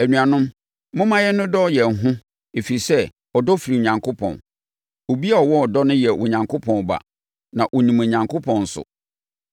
Anuanom, momma yɛnnodɔ yɛn ho ɛfiri sɛ, ɔdɔ firi Onyankopɔn. Obi a ɔwɔ ɔdɔ no yɛ Onyankopɔn ba na ɔnim Onyankopɔn nso.